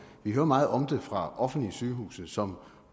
vi hører meget om det fra offentlige sygehuse som